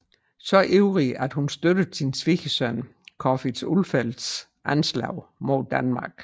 Så ivrigt at hun støttede sin svigersøn Corfitz Ulfeldts anslag mod Danmark